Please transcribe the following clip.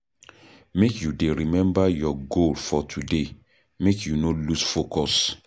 Make you dey remember your goal for today, make you no lose focus.